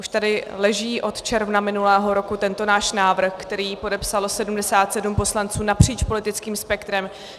Už tady leží od června minulého roku tento náš návrh, který podepsalo 77 poslanců napříč politickým spektrem.